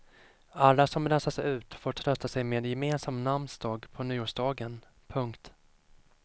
Alla som rensas ut får trösta sig med gemensam namnsdag på nyårsdagen. punkt